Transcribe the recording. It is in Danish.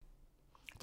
DR1